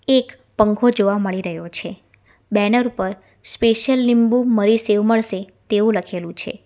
એક પંખો જોવા મળી રહ્યો છે બેનર પર સ્પેશિયલ લીંબુ મરી સેવ મળસે તેવું લખેલું છે.